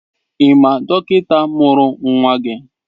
Ị ma dọkịta mụrụ nwa gị?